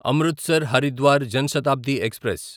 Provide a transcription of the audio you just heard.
Amritsar Haridwar Jan Shatabdi express